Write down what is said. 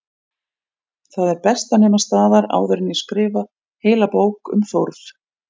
Það er best að nema staðar áður en ég skrifa heila bók um Þórð